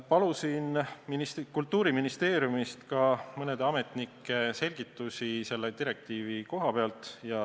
Palusin Kultuuriministeeriumist ka mõne ametniku selgitusi selle direktiivi koha pealt.